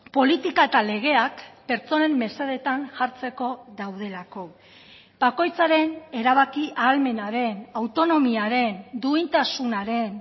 politika eta legeak pertsonen mesedetan jartzeko daudelako bakoitzaren erabaki ahalmenaren autonomiaren duintasunaren